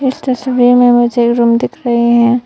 इस तस्वीर में मुझे एक रूम दिख रहे हैं।